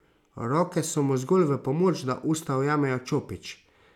Roke so mu zgolj v pomoč, da usta ujamejo čopič.